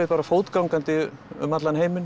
fótgangandi um allan heiminn